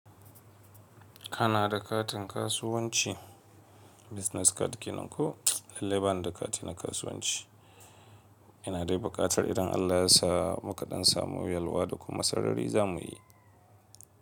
Kana da katin kasuwanci business card kenan? Ko lallai bana da kati na kasuwanci. Ina dai buƙatar idan Allah ya sa mu kaɗan samu yalwa da kuma sarari za mu yi.